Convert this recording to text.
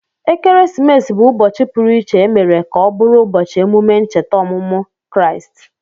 Ekeresimesi bụ ụbọchị pụru iché emere ka ọ bụrụ ubochi emume ncheta ọmụmụ Kraịst